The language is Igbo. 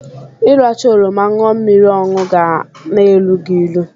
Ịracha oroma ñụọ mmiri ọnụ ga-na-elu gị ilu.